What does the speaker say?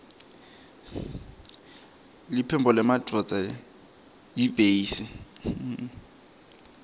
liphimbo lendvodza yiytbase